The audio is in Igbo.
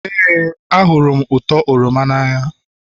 Éè, ahụrụ m ụtọ oroma n'anya